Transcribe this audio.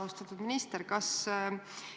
Austatud minister!